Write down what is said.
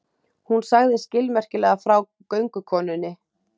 Hún sagði skilmerkilega frá göngukonunni.